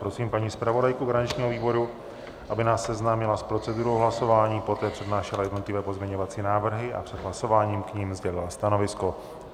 Prosím paní zpravodajku garančního výboru, aby nás seznámila s procedurou hlasování, poté přednášela jednotlivé pozměňovací návrhy a před hlasováním k nim sdělila stanovisko.